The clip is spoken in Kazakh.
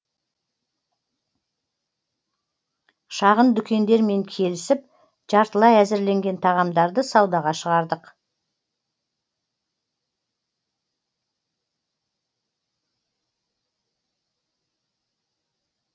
шағын дүкендермен келісіп жартылай әзірленген тағамдарды саудаға шығардық